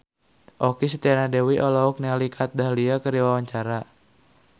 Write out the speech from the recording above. Okky Setiana Dewi olohok ningali Kat Dahlia keur diwawancara